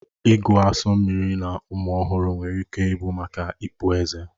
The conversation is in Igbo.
Ịgụ asu mmiri na ụmụ ọhụrụ nwere ike ịbụ maka ịpụ ezé